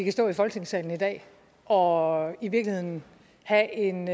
kan stå i folketingssalen i dag og i virkeligheden have en